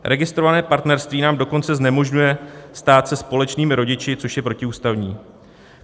Registrované partnerství nám dokonce znemožňuje stát se společnými rodiči, což je protiústavní.